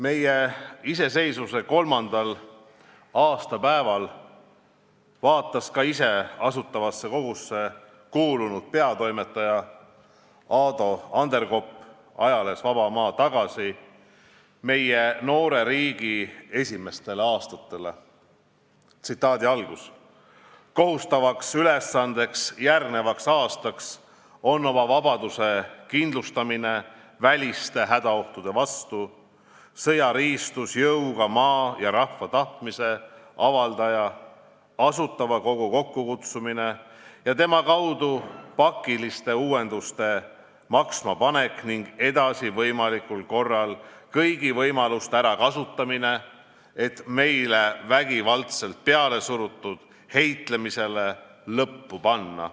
Meie iseseisvuse kolmandal aastapäeval vaatas ise Asutavasse Kogusse kuulunud peatoimetaja Ado Anderkopp ajalehes Vaba Maa tagasi meie noore riigi esimestele aastatele nii: "Kohustavaks ülesandeks järgnevaks aastaks on oma vabaduse kindlustamine väliste hädaohtude vastu sõjariistus jõuga, maa ja rahva tahtmise avaldaja – Asutava Kogu – kokkukutsumine ja tema kaudu pakiliste uuenduste maksmapanek ning edasi võimalikul korral kõigi võimaluste ärakasutamine, et meile vägivaldselt pealesurutud heitlemisele lõppu panna.